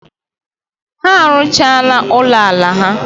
Ha arụchaala ụlọala ha.